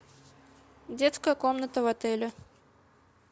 детская комната в отеле